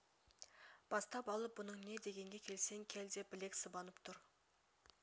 бастап алып бұның не дегенге келсең кел деп білек сыбанып тұр